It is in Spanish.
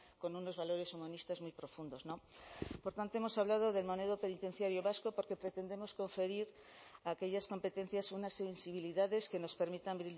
con unos valores humanistas muy profundos por tanto hemos hablado del modelo penitenciario vasco porque pretendemos conferir a aquellas competencias unas sensibilidades que nos permita